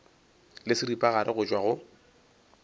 le seripagare go tšwa go